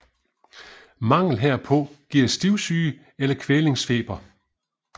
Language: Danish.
Mangel herpå giver stivsyge eller kælvningsfeber